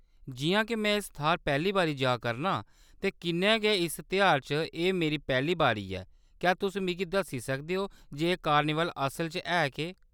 जिʼयां के में इस थाह्‌‌‌र पैह्‌ली बारी जा करना आं ते कन्नै गै इस तेहारै च एह्‌‌ मेरी पैह्‌ली बारी ऐ, क्या तुस मिगी दस्सी सकदे ओ जे एह्‌‌ कार्निवल असल च है केह्‌‌ ?